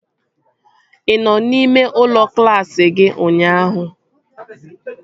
Ị nọ n'ime ụlọ klaasị gị ụnyaahụ?